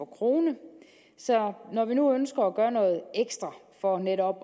krone så når vi nu ønsker at gøre noget ekstra for netop at